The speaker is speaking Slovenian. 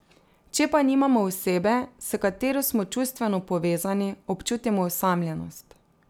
Če pa nimamo osebe, s katero smo čustveno povezani, občutimo osamljenost.